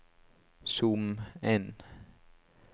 zoom inn